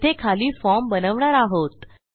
येथे खाली फॉर्म बनवणार आहोत